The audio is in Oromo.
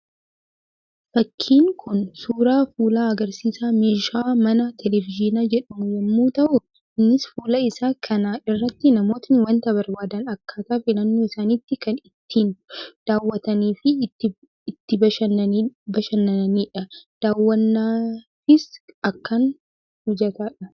Fakkiin Kun, suuraa fuula agarsiisa meeshaa manaa televizyiina jedhamuu yemmuu ta'u, innis fuula isaa kana irratti namootni waanta barbaadan akkataa filannoo isaanitti kan itti daawwatanii fi itti bashannanidha. Daawwannaafis akkaan mijataadha.